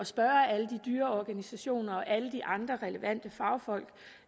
spørge alle de dyreorganisationer og alle de andre relevante fagfolk